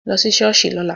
Lọ́ sí ṣọ́ọ̀ṣì ní ọ̀la.